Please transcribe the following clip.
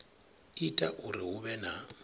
ita uri hu vhe na